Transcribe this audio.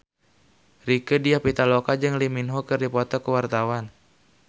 Rieke Diah Pitaloka jeung Lee Min Ho keur dipoto ku wartawan